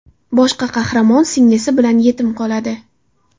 Bosh qahramon singlisi bilan yetim qoladi.